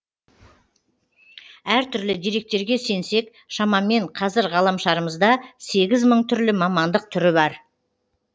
әртүрлі деректерге сенсек шамамен қазір ғаламшарымызда сегіз мың түрлі мамандық түрі бар